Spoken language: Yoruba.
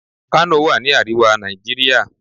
Kano wà ni àríwá Nàìjíríà.